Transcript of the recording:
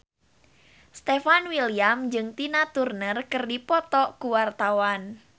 Stefan William jeung Tina Turner keur dipoto ku wartawan